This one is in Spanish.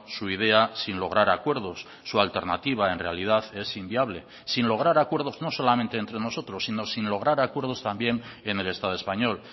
su idea sin lograr acuerdos su alternativa en realidad es inviable sin lograr acuerdos no solamente entre nosotros sino sin lograr acuerdos también en el estado español